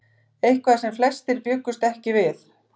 Eitthvað sem flestir bjuggust ekki við